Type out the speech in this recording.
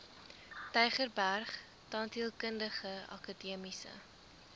tygerberg tandheelkundige akademiese